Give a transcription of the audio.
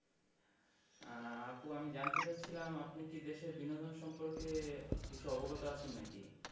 আহ আপু আমি জানতে চাচ্ছিলাম আপনি কি দেশের বিনোদন সম্পর্কে কিছু অবগত আছেন নাকি?